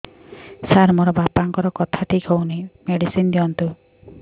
ସାର ମୋର ବାପାଙ୍କର କଥା ଠିକ ହଉନି ମେଡିସିନ ଦିଅନ୍ତୁ